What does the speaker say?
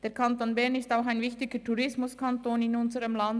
Der Kanton Bern ist auch ein wichtiger Tourismuskanton in unserem Land.